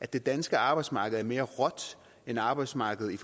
det danske arbejdsmarked er mere råt end arbejdsmarkedet